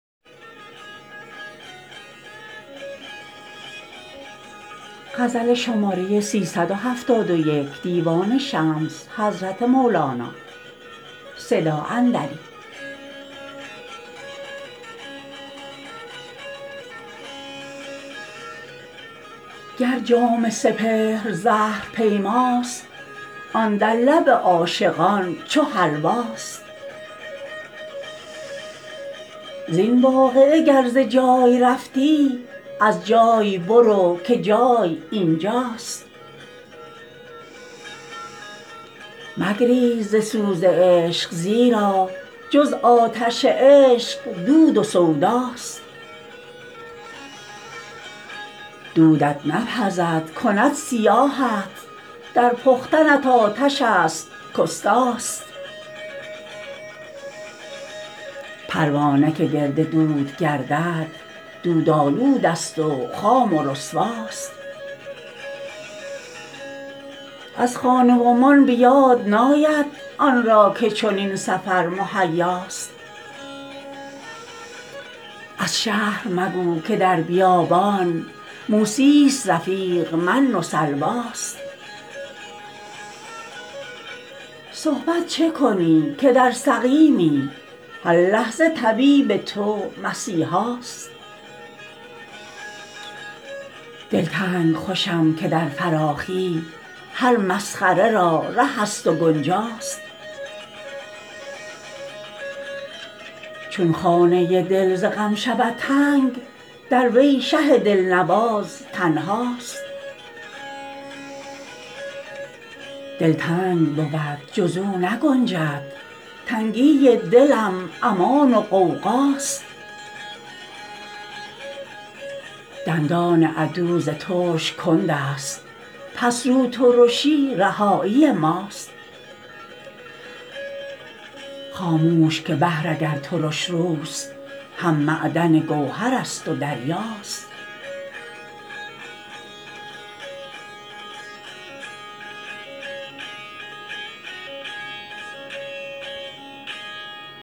گر جام سپهر زهر پیماست آن در لب عاشقان چو حلواست زین واقعه گر ز جای رفتی از جای برو که جای این جاست مگریز ز سوز عشق زیرا جز آتش عشق دود و سوداست دودت نپزد کند سیاهت در پختنت آتشست کاستاست پروانه که گرد دود گردد دود آلوده ست و خام و رسوا ست از خانه و مان به یاد ناید آن را که چنین سفر مهیا ست از شهر مگو که در بیابان موسی ست رفیق من و سلواست صحبت چه کنی که در سقیمی هر لحظه طبیب تو مسیحا ست دلتنگ خوشم که در فراخی هر مسخره را رهست و گنجا ست چون خانه دل ز غم شود تنگ در وی شه دلنواز تنها ست دل تنگ بود جز او نگنجد تنگی دلم امان و غوغا ست دندان عدو ز ترس کنده ست پس روترشی رهایی ماست خاموش که بحر اگر ترش روست هم معدن گوهر ست و دریا ست